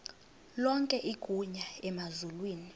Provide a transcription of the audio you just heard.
lonke igunya emazulwini